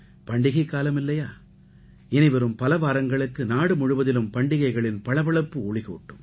பண்டிகைக்காலம் இல்லையா இனிவரும் பல வாரங்களுக்கு நாடு முழுவதிலும் பண்டிகளைகளின் பளபளப்பு ஒளிகூட்டும்